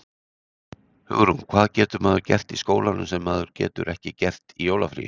Hugrún: Hvað getur maður gert í skólanum sem maður getur ekki gert í jólafríinu?